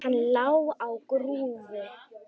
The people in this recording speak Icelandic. Hann lá á grúfu.